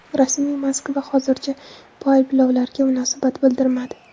Rasmiy Moskva hozircha bu ayblovlarga munosabat bildirmadi.